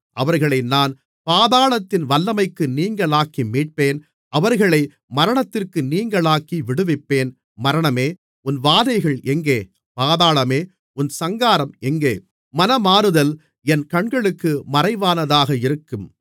அவர்களை நான் பாதாளத்தின் வல்லமைக்கு நீங்கலாக்கி மீட்பேன் அவர்களை மரணத்திற்கு நீங்கலாக்கி விடுவிப்பேன் மரணமே உன் வாதைகள் எங்கே பாதாளமே உன் சங்காரம் எங்கே மனமாறுதல் என் கண்களுக்கு மறைவானதாக இருக்கும்